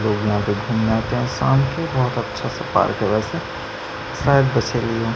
लोग यहाँ घूमने आते हैं शाम के बहुत अच्छा-सा पार्क है वैसे शायद बसेली--